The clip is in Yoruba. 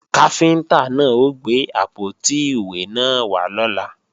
Káfíntá náà ó gbé àpótí ìwé náà wá lọ́la